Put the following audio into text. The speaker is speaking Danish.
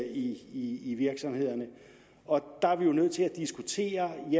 i i virksomhederne og der er vi jo nødt til at diskutere